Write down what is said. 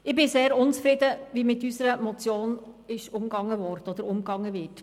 Ich bin sehr unzufrieden, wie mit unserer Motion umgegangen wird.